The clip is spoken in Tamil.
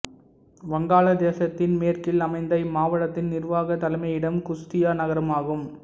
வங்காளதேசத்தின் மேற்கில் அமைந்த இம்மாவட்டத்தின் நிர்வாகத் தலைமையிடம் குஸ்தியா நகரம் ஆகும்